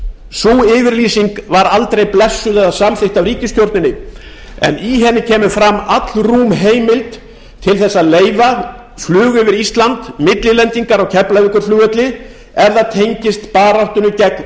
sú yfirlýsing var aldrei blessuð eða samþykkt af ríkisstjórninni en í henni kemur fram allrúm heimild til þess að leyfa flug yfir ísland millilendingar á keflavíkurflugvelli ef það tengist baráttunni gegn